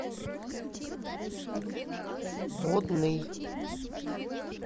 водный